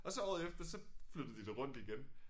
Og så året efter så flyttede de det rundt igen